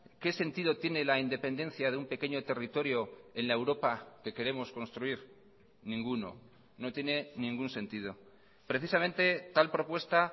qué sentido tiene la independencia de un pequeño territorio en la europa que queremos construir ninguno no tiene ningún sentido precisamente tal propuesta